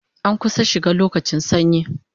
An kusan shiga lokacin sanyi